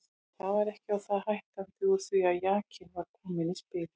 Það var ekki á það hættandi úr því að jakinn var kominn í spilið.